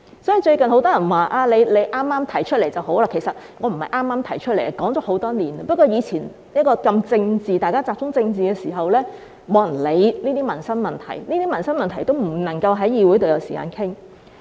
所以，最近很多人說，我此時提出正合時機，但其實我不是剛剛提出的，已提出很多年，只是以前大家聚焦政治議題，沒有人理會這些民生問題，以致這些民生問題不能在議會上有時間討論。